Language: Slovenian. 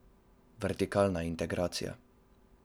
Vertikalna integracija.